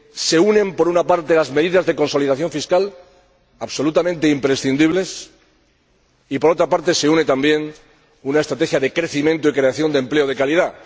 se unen, por una parte las medidas de consolidación fiscal, absolutamente imprescindibles, y por otra se une también una estrategia de crecimiento y creación de empleo de calidad.